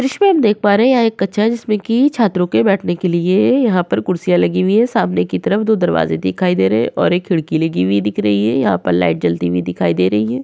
ये दृश्य में हम देख पा रहे हैं यहाँ एक कक्षा है जिसमें की छात्रों के बैठने के लिए है यहाँ पर कुर्सियां लगी हुई है सामने की तरफ दो दरवाजे दिखाई दे रहे है और एक खिड़की लगी हुई दिख रही है। यहाँ पर लाइट जलती हुई दिखाई दे रही है।